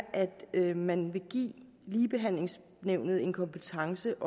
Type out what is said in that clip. at man vil give ligebehandlingsnævnet en kompetence